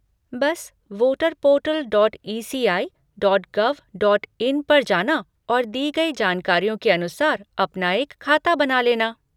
बस voter portal dot ECI dot GOV dot in पर जाना और दी गई जानकारियों के अनुसार अपना एक खाता बना लेना।